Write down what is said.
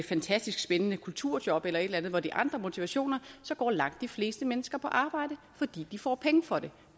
fantastisk spændende kulturjob eller et eller andet hvor der er andre motivationer så går langt de fleste mennesker på arbejde fordi de får penge for det